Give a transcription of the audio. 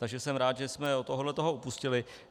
Takže jsem rád, že jsme od tohoto upustili.